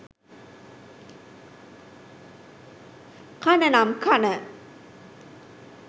කන නම් කන